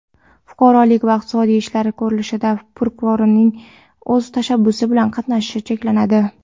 Fuqarolik va iqtisodiy ishlar ko‘rilishida prokurorning o‘z tashabbusi bilan qatnashishi cheklanadi.